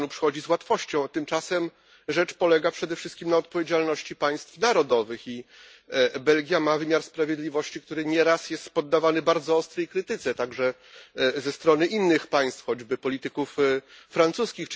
To Panu przychodzi z łatwością, tymczasem rzecz polega przede wszystkim na odpowiedzialności państw narodowych i Belgia ma wymiar sprawiedliwości, który nieraz jest poddawany bardzo ostrej krytyce, także ze strony innych państw, choćby polityków francuskich.